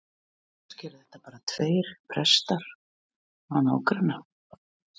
Kannski eru þetta bara tveir prestar á nágranna